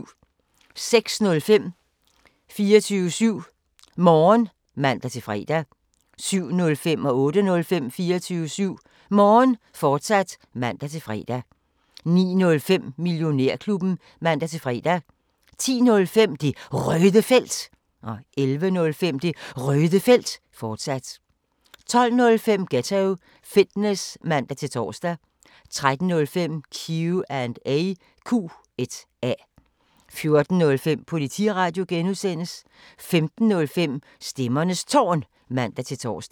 06:05: 24syv Morgen (man-fre) 07:05: 24syv Morgen, fortsat (man-fre) 08:05: 24syv Morgen, fortsat (man-fre) 09:05: Millionærklubben (man-fre) 10:05: Det Røde Felt 11:05: Det Røde Felt, fortsat 12:05: Ghetto Fitness (man-tor) 13:05: Q&A 14:05: Politiradio (G) 15:05: Stemmernes Tårn (man-tor)